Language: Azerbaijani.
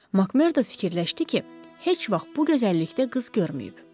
Makmerdo fikirləşdi ki, heç vaxt bu gözəllikdə qız görməyib.